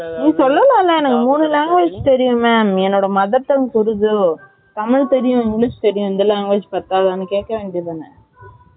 நீ சொல்லாம்லா எனக்கு மூனு language தெரியும் mam என்னோட mother tongue உருது, தமிழ் தெரியும் english தெரியும் இந்த language பாத்ததான்னு கேக்க வேண்டிய தானா